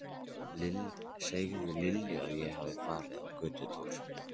Segðu Lilju að ég hafi farið í göngutúr.